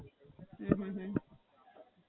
અચ્છા, હાં.